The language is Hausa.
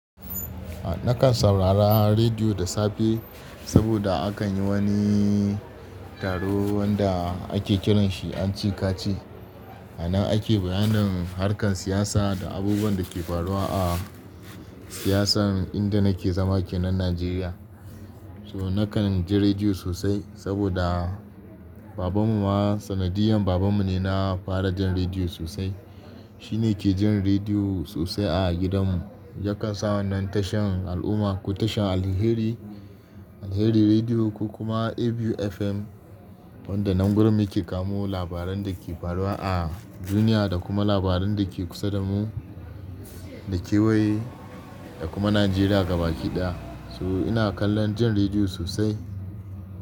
Nakan saurara rediyo da safe saboda akan yi wani taro wanda ake kiran shi anci kaci. A nan ake bayanin harkar siyasa da abubuwan da ke faruwa a siyasan inda nake zama kenan Nijeriya. So nakan ji rediyo sosai saboda babanmu ma, sanadiyan babanmu ne na fara jin rediyo sosai. Shi ne ke jin rediyo sosai a gidanmu. Yakan sa wannan tashan Al'umma ko tashan Alheri, Alheri Rediyo ko kuma ABU FM wanda nan Gurin mu ke kamo labaran da ke faruwa a duniya da kuma labaran da ke kusa da mu, da kewaye da kuma Najeriya gaba ki ɗaya. So ina kallon jin rediyo sosai.